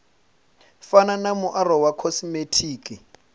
fana na muaro wa khosimetiki